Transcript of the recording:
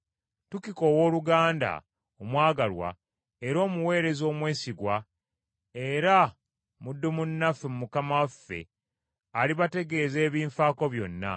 Tukiko owooluganda omwagalwa era omuweereza omwesigwa era muddu munnaffe mu Mukama waffe alibategeeza ebinfaako byonna.